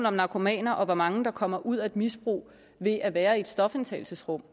om narkomaner og hvor mange der kommer ud af et misbrug ved at være i et stofindtagelsesrum